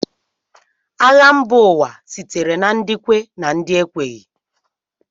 Agha mba ụwa sitere na ndị kwe na ndị ekweghị